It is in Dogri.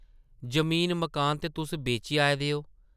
जमीन-मकान ते तुस बेची आए दे ओ ।